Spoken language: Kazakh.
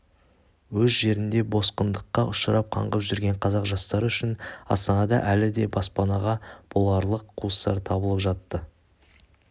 өз жерінде босқындыққа ұшырап қаңғып жүрген қазақ жастары үшін астанада әлі де баспана боларлық қуыстар табылып жатты